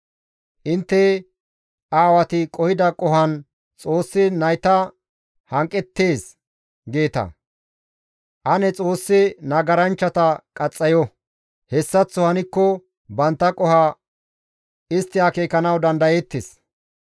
Intte, ‹Aawati qohida qohon Xoossi nayta hanqettees› geeta; ane Xoossi nagaranchchata qaxxayo; hessaththo hankko bantta qoho istti akeekanawu dandayeettes.